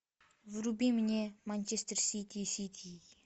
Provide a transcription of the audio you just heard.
вруби мне манчестер сити сити